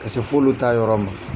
Ka se f'olu ta yɔrɔ ma.